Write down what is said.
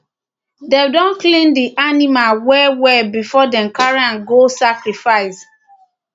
dem dey clean the the animal well well before dem carry am go sacrifice